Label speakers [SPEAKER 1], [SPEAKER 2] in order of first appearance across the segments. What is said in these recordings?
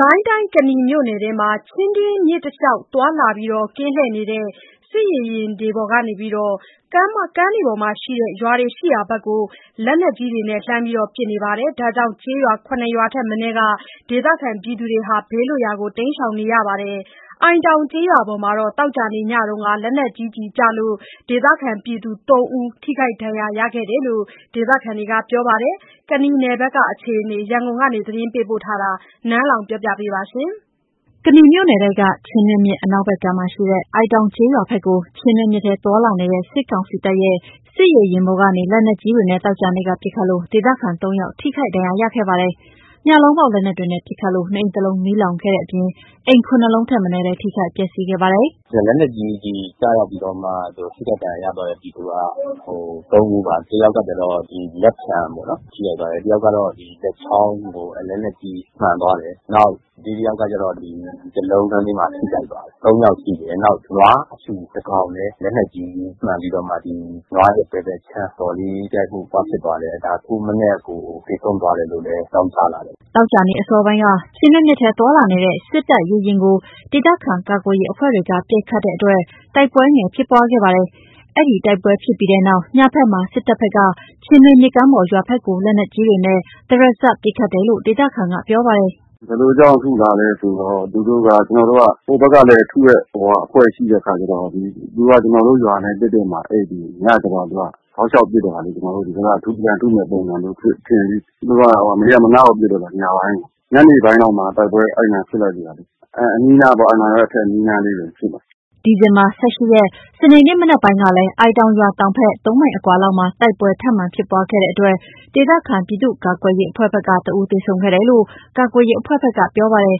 [SPEAKER 1] ကိုင်းတိုင်း ကနီမြို့နယ်ထဲမှာ ချင်းတွင်းမြစ်တလျှောက်သွားလာ ကင်းလှည့်နေတဲ့ စစ်ရေယာဉ်တွေပေါ်ကနေ ကမ်းပေါ်က ရွာတွေရှိရာဘက် လက်နက်ကြီးတွေနဲ့ လှမ်းပစ်နေတာကြောင့် ကျေးရွာ ၇ ခုထက်မနည်းက ဒေသခံတွေ ဘေးလွတ်ရာ တိမ်းရှောင်နေကြပါတယ်။ အိုင်တောင်ကျေးရွာပေါ် သောကြာနေ့ညက လက်နက် ကြီးကျည်ကျလို့ ဒေသခံတွေ ၃ ဦးထိခိုက်ဒဏ်ရာရခဲ့တယ်လို့လည်း ဒေသခံတွေကပြောပါတယ်။ ရန်ကုန်ကပေးပို့ထားတဲ့ ကနီနယ်ဘက်ကအခြေအနေတွေကို နန်းလောဝ်က တင်ပြပေးထားပါတယ်။ ကနီမြို့နယ်ထဲက ချင်းတွင်းမြစ် အနောက်ဘက်ကမ်းမှာရှိတဲ့ အိုင်တောင်ကျေး ရွာဘက်ကို ချင်းတွင်းမြစ်ထဲ သွားလာနေတဲ့ စစ်ကောင်စီတပ်ရဲ့ စစ်ရေယာဉ်ပေါ်ကနေ လက်နက်ကြီးတွေနဲ့ သောကြာနေ့က ပစ်ခတ်လို့ ဒေသခံ ၃ ယောက် ထိခိုက်ဒဏ်ရာရခဲ့ပါတယ်။ ညလုံးပေါက် လက်နက်တွေနဲ့ ပစ်ခတ်လို့ နေအိမ် ၁ လုံး မီးလောင်ခဲ့တဲ့အပြင် အိမ် ၇ လုံးထက်မနည်းလည်း ထိခိုက်ပျက်စီးခဲ့ပါတယ်။
[SPEAKER 2] “လက်နက်ကြီးကျည်ကျရောက်ပြီးတော့မှ ထိခိုက်ဒဏ်ရာရသွားတဲ့ ပြည်သူက ၃ ဦးပါ။ တယောက်ကကျတော့ လက်ဖျံပေ့ါနော် ထိခိုက်သွားတယ်၊ တယောက်က လက်ချောင်းကို လက်နက်ကြီးမှန်သွားတယ်၊ နောက်တယောက်ကတော့ ထိခိုက် သွားတယ်။ ၃ ယောက်ရှိတယ်။ နောက် နွားအဖြူတကောင်လည်း လက်နက်ကြီးမှန်ပြီးတော့မှ ဒီနွားရဲ့ဘယ်ဘက်ခြမ်း အတော်လေး ထိခိုက်မှုဖြစ်သွားတယ်။ ဒါအခုမနက်ကို သေဆုံးသွားတယ်လို့လည်း အကြောင်းကြားလာတယ်။
[SPEAKER 1] ” သောကြာနေ့အစောပိုင်းက ချင်းတွင်းမြစ်ထဲ သွားလာနေတဲ့ စစ်တပ်ရေယာဉ်ကို ဒေသခံကာကွယ်ရေးအဖွဲ့တွေ ပစ်ခတ်တဲ့အတွက် တိုက်ပွဲငယ်ဖြစ်ပွားခဲ့ပါတယ်။ အဲဒီတိုက်ပွဲဖြစ်ပြီးနောက် ညဘက်မှာ စစ်တပ်ဘက်က ချင်းတွင်းမြစ်ကမ်းပေါ်က ရွာဘက်ကို လက်နက်ကြီးတွေနဲ့ တရစပ်ပစ်ခတ်တယ်လို့ ဒေသခံက ပြောပြပါတယ်။
[SPEAKER 3] “ဘယ်လိုကြောင့်ထုတာလဲဆိုတော့ သူတို့က ဟိုဘက်ကလည်း ထုတဲ့အဖွဲ့ရှိတဲ့အခါကျတော့ ကျနော်တို့ရွာနဲ့ တည့်တည့်မှာ အိပ်ပြီး ညကျတော့ သူက တောက်လျှောက်ပစ်တော့တာလေ၊ ကျနော်တို့ ဒီဘက်က ပြန်ထုမယ့်ပုံစံမျိုး ထင်ပြီး သူတို့ မရပ်မနားပစ်တော့တာပဲ။ ညနေပိုင်းလောက်မှာ တိုက်ပွဲ အဲ့နားဖြစ်လိုက်သေးတာလေ။ အဲ့ဒီ အနီးအနားပေါ့ အိုင်တောင်ရွာရဲ့ အနီးအနားလေးတွေဖြစ်တာ။
[SPEAKER 1] ” ဒီဇင်ဘာ ၁၈ ရက် စနေနေ့မနက်ပိုင်းကလည်း အိုင်တောင်ရွာတောင်ဘက် ၃ မိုင် အကွာလောက်မှာ တိုက်ပွဲထပ်မံဖြစ်ပွားခဲ့တဲ့အတွက် ဒေသခံပြည်သူ့ကာကွယ်ရေးအဖွဲ့ဘက်က ၁ ဦးသေဆုံးခဲ့တယ်လို့ ကာကွယ်ရေးအဖွဲ့ဘက်က ပြောပါတယ်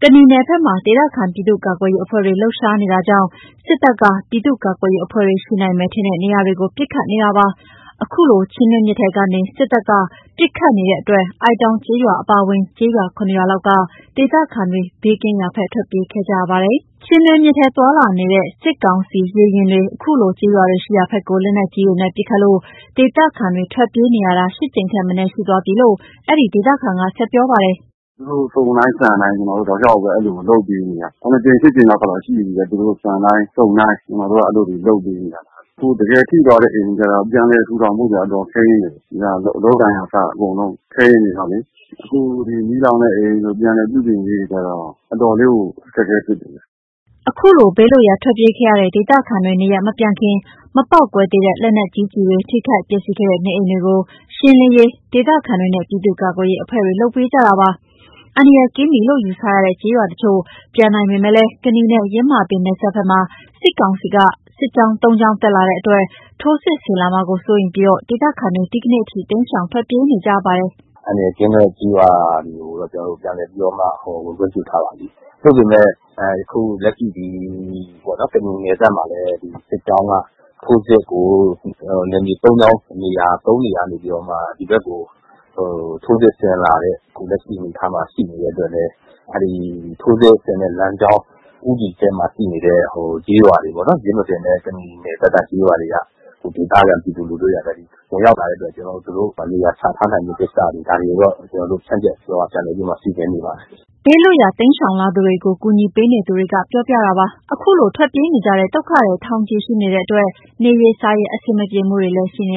[SPEAKER 1] ။ ကနီနယ်ဘက်မှာ ဒေသခံ ပြည်သူ့ကာကွယ်ရေးအဖွဲ့တွေ လှုပ်ရှားတာကြောင့် စစ်တပ်က ပြည်သူ့ကာကွယ်ရေးအဖွဲ့တွေ ရှိနိုင်မယ်ထင်တဲ့နေရာတွေကို ပစ်ခတ်နေတာဖြစ်ပါတယ်။ ခုလို ချင်းတွင်းမြစ်ထဲကနေ စစ်တပ်က ပစ်ခတ်နေတဲ့အတွက် အိုင်တောင်ကျေးရွာအပါအဝင် ကျေးရွာ ၇ ရွာလောက်က ဒေသခံတွေ ဘေးကင်းရာဘက် ထွက်ပြေးခဲ့ကြပါတယ်။ ချင်းတွင်းမြစ်ထဲ သွားလာနေတ့ စစ်ကောင်စီ ရေယာဉ်တွေ အခုလို ကျေးရွာတွေရှိရာဘက်ကို လက်နက်ကြီးနဲ့ ပစ်ခတ်လို့ ဒေသခံတွေ ထွက်ပြေးနေရတာ ၈ ကြိမ်ထက်မနည်း ရှိသွားပြီးလို့ အဲ့ဒီဒေသခံက ဆက်ပြောပါတယ်
[SPEAKER 3] ။ “သူတို့စုန်တိုင်း ဆန်တိုင်း ကျနော်တို့တောက်လျှောက်ပဲ ပြေးနေရတယ်၊ ၇ ကြိမ် ၈ ကြိမ်လောက် ရှိနေပြီ။ သူတို့ဆန်တိုင်း စုန်တိုင်း ကျနော်တို့က အဲ့လိုတွေ ပြေးနေရတာ၊ အခု တကယ်ထိသွားတဲ့ အိမ်တွေကျတော့ ပြန်လည်ထူထောင်ဖို့ကျ အတော် ခဲယဉ်းတယ်။ အလုပ်အကိုင်ကအစ အကုန်လုံးခဲယဉ်းနေတော့လေ၊ အခုမီးလောင် တဲ့အိမ်တို့ ပြန်လည်ပြုပြင်ရေးကျတော့ အတော်လေးကို အခက်အခဲဖြစ်နေတယ်
[SPEAKER 1] ။” အခုလို ဘေးလွတ်ရာ ထွက်ပြေးရတဲ့ ဒေသခံတွေ နေရပ်မပြန်ခင်မပေါက်ကွဲသေး တဲ့ လက်နက်ကြီးကျည်တွေ၊ ထိခိုက်ပျက်စီးခဲ့တဲ့ နေအိမ်တွေကို ရှင်းလင်းရေးကိုလည်း ဒေသခံတွေနဲ့ ပြည်သူ့ကာကွယ်ရေးအဖွဲ့တွေလုပ်ပေးနေကြပါတယ်။ အန္တရာယ်ကင်းပြီလို့ ယူဆရတဲ့ ကျေးရွာတချို့ပြန်နိုင်ပေမယ့် ကနီနဲ့ ယင်းမာပင် နယ်စပ်ဘက်မှာ စစ်ကောင်စီကဘက် စစ်ကြောင်း ၃ ကြောင်း တက်လာတဲ့အတွက် ထိုးစစ်ဆင်လာမှာ စိုးရိမ်ပြီး ဒေသခံတွေ ဒီနေ့အထိ တိမ်းရှောင် ထွက်ပေးနေကြပါတယ်။
[SPEAKER 2] “အန္တရာယ်ကင်းတဲ့ ကျေးရွာတွေကို ကျနော်တို့ပြန်လည်ပြီးတော့မှ ဝင်ခွင့်ပြုထားပါပြီ။ သို့ပေမယ့် အခုလက်ရှိ ကနီနယ်စပ်မှာလည်း ဒီစစ်ကြောင်းက နယ်မြေ သုံးကြောင်း သုံးနေရာကနေပြီးတော့မှ ဒီဘက်ကို ထိုးစစ်ဆင်လာတဲ့ အခုလက်ရှိအနေအထားမှာ ရှိနေတဲ့အတွက်လည်း အဲ့ဒီထိုးစစ်ဆင်တဲ့ လမ်းကြောင်း ဦးတည်ချက် မှာရှိတဲ့ ကျေးရွာတွေပေါ့နော် ယင်းမာပင်နဲ့ကနီနယ်စပ်က ကျေးရွာတွေက ဒေသခံပြည်သူလူထုက ဝင်ရောက်လာတဲ့အတွက် ကျနော်တို့ သူတို့နေရာချထားနိုင်မှုကိစ္စတွေ... ဒါတွေကိုတော့ ကျနော်တို့ ဖြန့်ကျက်ပြီးတော့ ပြန်လည်ပြီးတော့ စီစဉ်နေပါတယ်။” ဘေးလွတ်
[SPEAKER 1] ရာ လာနေကြသူတွေကို ကူညီပေးနေသူ ပြောပြတာပါ။ ခုလို ထွက်ပြေးနေကြတဲ့ ဒုက္ခသည်ထောင်ချီရှိနေတဲ့အတွက် နေရေး စားရေး အဆင်မပြေမှုတွေရှိနေ